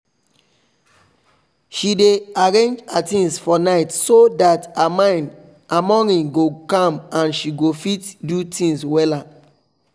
she dey arrange her things for night so that her morning go calm and she go fit do things wella